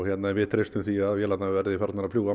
við treystum því að MAX vélarnar verði farnar að fljúga